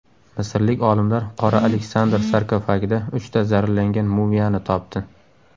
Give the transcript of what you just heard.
Misrlik olimlar qora Aleksandr sarkofagida uchta zararlangan mumiyani topdi.